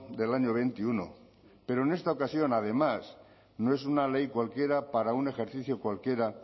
del año veintiuno pero en esta ocasión además no es una ley cualquiera para un ejercicio cualquiera